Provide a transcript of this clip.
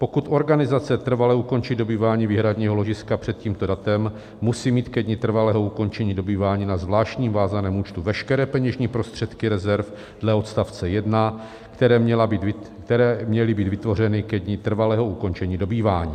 Pokud organizace trvale ukončí dobývání výhradního ložiska před tímto datem, musí mít ke dni trvalého ukončení dobývání na zvláštním vázaném účtu veškeré peněžní prostředky rezerv dle odstavce 1, které měly být vytvořeny ke dni trvalého ukončení dobývání.